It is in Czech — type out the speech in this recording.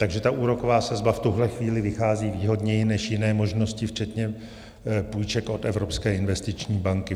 Takže ta úroková sazba v tuhle chvíli vychází výhodněji než jiné možnosti včetně půjček od Evropské investiční banky.